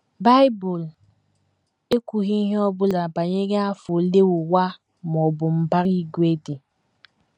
Bible ekwughị ihe ọ bụla banyere afọ ole ụwa ma ọ bụ mbara igwe dị.